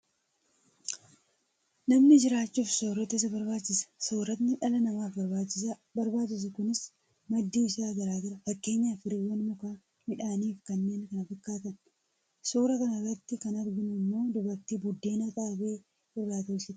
Namni jiraachuuf soorata isa barbaachisa. Sooratni dhala namaaf barbaachisu kunis maddi isaa garaa gara. Fakkeenyaaf firiiwwan mukaa, midhaan fi kanneen kana fakkaatan. Suuraa kana irratti kan arginu immoo dubartii buddeena Xaafii irraa tolchitee bakka tokkotti kuustedha.